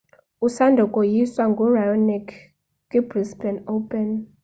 usanda koyiswa nguraonic kwibrisbane open